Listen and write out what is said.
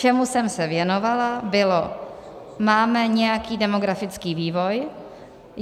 Čemu jsem se věnovala, bylo - máme nějaký demografický vývoj.